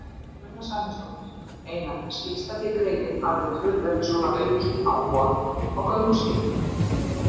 Sunna Sæmundsdóttir: Einar, mér skilst að þið greinið alveg töluvert svona aukin áhuga á gönguskíðum?